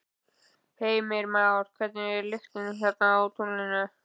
Heimir Már: Hvernig er lyktin á tunglinu?